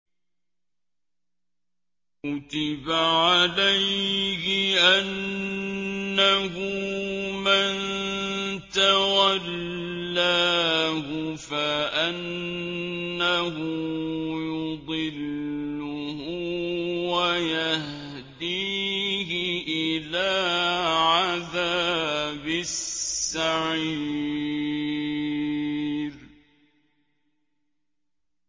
كُتِبَ عَلَيْهِ أَنَّهُ مَن تَوَلَّاهُ فَأَنَّهُ يُضِلُّهُ وَيَهْدِيهِ إِلَىٰ عَذَابِ السَّعِيرِ